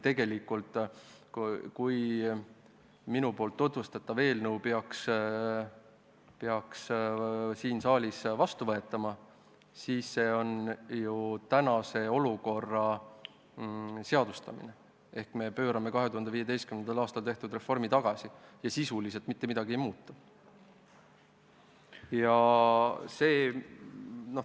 Kui minu tutvustatav eelnõu peaks siin saalis vastu võetama, siis tegemist on ju tänase olukorra seadustamisega ehk me pöörame 2015. aastal tehtud reformi tagasi ja sisuliselt mitte midagi ei muutu.